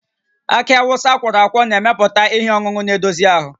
Akị Awụsa akwọrọ akwọ na-emepụta ihe ọṅụṅụ na-edozi ahụ